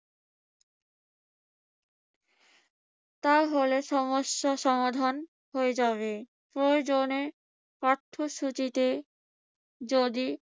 তাহলে সমস্যা সমাধান হয়ে যাবে। প্রয়োজনে পাঠ্যসূচিতে যদি